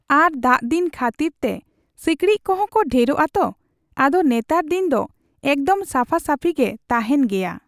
ᱟᱨ ᱫᱟᱜ ᱫᱤᱱ ᱠᱷᱟᱹᱛᱤᱨ ᱛᱮ ᱥᱤᱠᱬᱤᱡ ᱠᱚᱦᱚᱸ ᱠᱚ ᱰᱷᱮᱨᱚᱜᱼᱟ ᱛᱚ, ᱟᱫᱚ ᱱᱮᱛᱟᱨ ᱫᱤᱱ ᱫᱚ ᱮᱠᱫᱚᱢ ᱥᱟᱯᱷᱟ ᱥᱟᱯᱷᱤᱜᱮ ᱛᱟᱦᱮᱸᱱ ᱜᱮᱭᱟ ᱾